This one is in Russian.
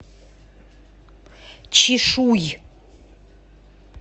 чишуй